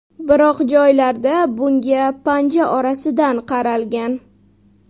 Biroq joylarda bunga panja orasidan qaralgan.